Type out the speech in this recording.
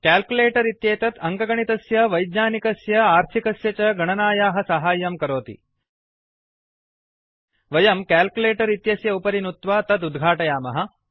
calculator इत्येतत् अङ्कगणितस्य वैज्ञानिकस्य आर्थिकस्य च गणनायाः साहाय्यं करोति वयम् कैल्कुलेटर इत्यस्य उपरि नुत्वा तत् उद्घाटयामः